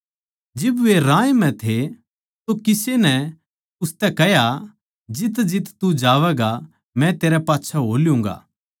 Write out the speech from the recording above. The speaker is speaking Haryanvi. जिब वे राह म्ह जावै थे तो किसे नै उसतै कह्या जितजित तू जावैगा मै तेरै पाच्छै हो ल्यूँगा